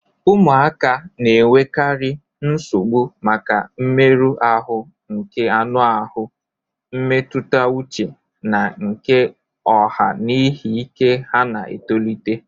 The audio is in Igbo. Ụmụaka na-enwekarị nsogbu maka mmerụ ahụ nke anụ ahụ, mmetụta uche na nke ọha n'ihi ike ha na-etolite..